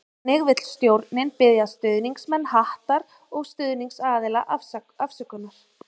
Einnig vil stjórnin biðja stuðningsmenn Hattar og stuðningsaðila afsökunar.